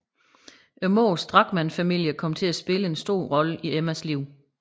Moderens Drachmann familie kom til at spille en stor rolle i Emmas liv